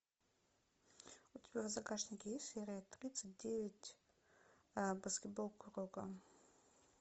у тебя в загашнике есть серия тридцать девять баскетбол куроко